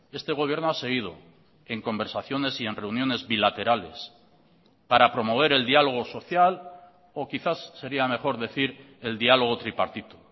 este gobierno ha seguido en conversaciones y en reuniones bilaterales para promover el diálogo social o quizás sería mejor decir el diálogo tripartito